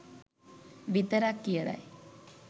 විතරක් කියලයි.